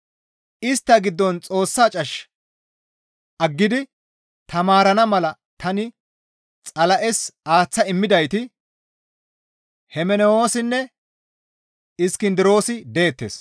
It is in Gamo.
Istta giddon Xoossa cash aggidi taamarana mala tani Xala7es aaththa immidayti Hemenewoosinne Iskindiroosi deettes.